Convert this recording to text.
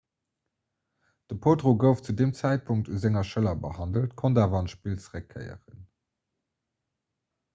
de potro gouf zu deem zäitpunkt un senger schëller behandelt konnt awer an d'spill zeréckkéieren